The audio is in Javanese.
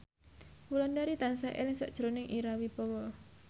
Wulandari tansah eling sakjroning Ira Wibowo